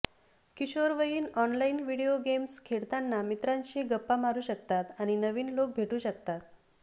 किशोरवयीन online video games खेळताना मित्रांशी गप्पा मारू शकतात आणि नवीन लोक भेटू शकतात